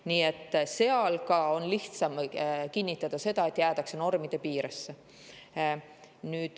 Nii et selle puhul on lihtsam kinnitada, et jäädakse normi piiresse.